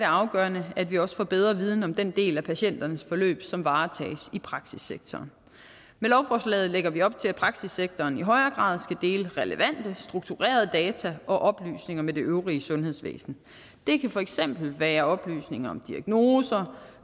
afgørende at vi også får bedre viden om den del af patienternes forløb som varetages i praksissektoren med lovforslaget lægger vi op til at praksissektoren i højere grad dele relevante strukturerede data og oplysninger med det øvrige sundhedsvæsen det kan for eksempel være oplysninger om diagnoser